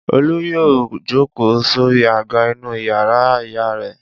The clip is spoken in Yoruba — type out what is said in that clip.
Olú yóò jókòó sórí àga inú ìyàrá ìyá rẹ̀.